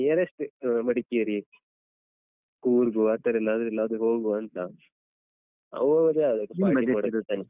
ಹಾ .